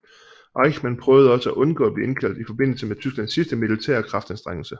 Eichmann prøvede også at undgå at blive indkaldt i forbindelse med Tysklands sidste militære kraftanstrengelse